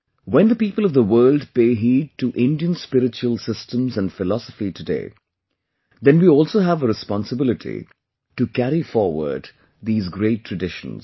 when the people of the world pay heed to Indian spiritual systems and philosophy today, then we also have a responsibility to carry forward these great traditions